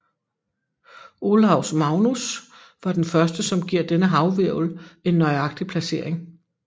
Olaus Magnus var den første som giver denne havhvirvle en nøjagtig placering